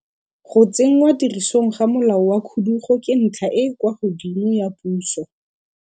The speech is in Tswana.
Go tsenngwa tirisong ga molao wa khudugo ke ntlha e e kwa godimo ya puso.